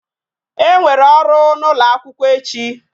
E nwere ọrụ n'ụlọ akwụkwọ echi